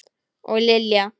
Og Lilja!